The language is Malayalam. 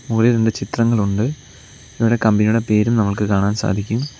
മുകളിൽ രണ്ട് ചിത്രങ്ങളുണ്ട് ഇവിടെ കമ്പനിയുടെ പേരും നമുക്ക് കാണാൻ സാധിക്കും.